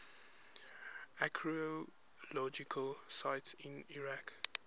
archaeological sites in iraq